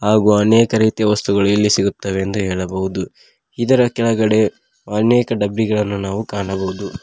ಹಾಗೂ ಅನೇಕ ರೀತಿಯ ವಸ್ತುಗಳು ಇಲ್ಲಿ ಸಿಗುತ್ತವೆ ಎಂದು ಹೇಳಬಹುದು ಇದರ ಕೆಳಗಡೆ ಅನೇಕ ಡಬ್ಬಿಗಳನ್ನು ನಾವು ಕಾಣಬಹುದು.